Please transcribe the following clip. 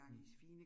Mh